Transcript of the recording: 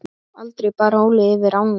Aldrei bar Óli yfir ána.